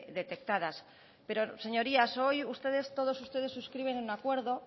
detectadas pero señorías hoy ustedes todos ustedes suscriben un acuerdo